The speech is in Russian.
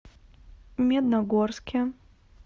медногорске